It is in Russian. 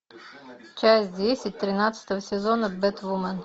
часть десять тринадцатого сезона бэтвумен